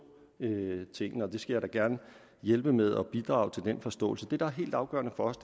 tingene og det skal gerne hjælpe med at bidrage til den forståelse det der er helt afgørende for os